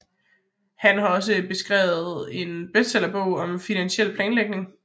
Han har også skrevet en bestseller bog om finansiel planlægning